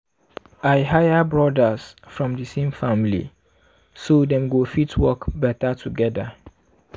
i hire brothers from di same family so dem go fit work better together.